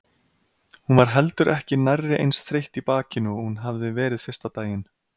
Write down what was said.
Hún var heldur ekki nærri eins þreytt í bakinu og hún hafði verið fyrsta daginn.